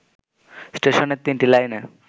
স্টেশনের তিনটি লাইনে